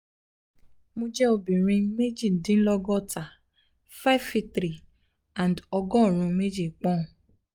mo jẹ́ obìnrin méjìdínlọ́gọ́ta five feet three and ọgọ́rùn-ún méjì poun